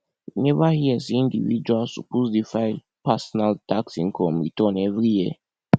you neva hear sey individuals suppose dey file personal tax income return every year